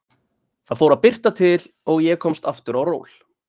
Það fór að birta til og ég komst aftur á ról.